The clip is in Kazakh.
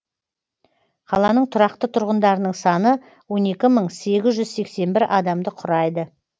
қаланың тұрақты тұрғындарының саны он екі мың сегіз жүз сексен бір адамды құрайды